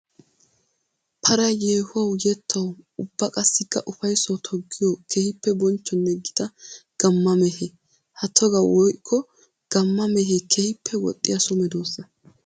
Paray yeehuwawu yettawu ubba qassikka ufayssawu toggiyo keehippe bonchchonne gita gamma mehe. Ha togga woykko gamma mehe keehippe woxxiya so medosa.